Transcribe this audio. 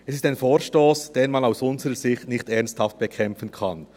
Es ist ein Vorstoss, den man aus unserer Sicht nicht ernsthaft bekämpfen kann.